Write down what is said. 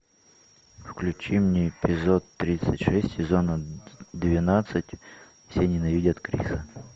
включи мне эпизод тридцать шесть сезона двенадцать все ненавидят криса